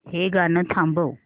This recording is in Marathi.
हे गाणं थांबव